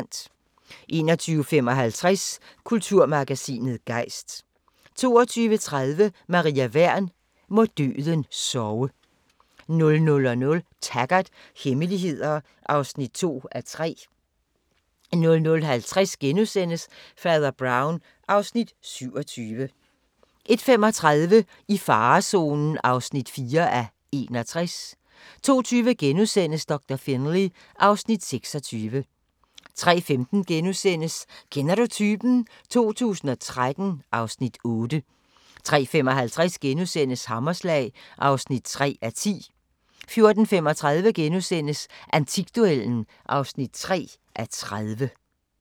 21:55: Kulturmagasinet Gejst 22:30: Maria Wern: Må døden sove 00:00: Taggart: Hemmeligheder (2:3) 00:50: Fader Brown (Afs. 27)* 01:35: I farezonen (4:61) 02:20: Doktor Finlay (Afs. 26)* 03:15: Kender du typen? 2013 (Afs. 8)* 03:55: Hammerslag (3:10)* 04:35: Antikduellen (3:30)*